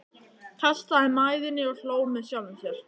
Kastaði mæðinni og hló með sjálfum sér.